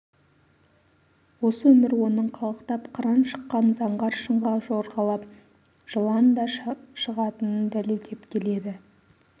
осы өмір оның қалықтап қыран шыққан заңғар шыңға жорғалап жылан да шығатынын дәлелдеп келеді